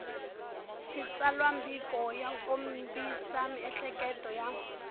xitsalwambiko ya kombisa miehleketo ya